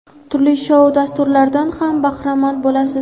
turli shou dasturlaridan ham bahramand bo‘lasiz.